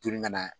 Toli ka na